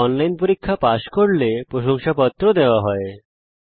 online পরীক্ষা pass করলে প্রশংসাপত্র সার্টিফিকেট ও দেওয়া হয়